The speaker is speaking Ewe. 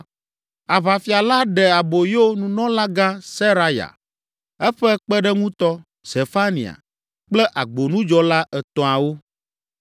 Aʋafia la ɖe aboyo nunɔlagã Seraya, eƒe kpeɖeŋutɔ, Zefania kple agbonudzɔla etɔ̃awo.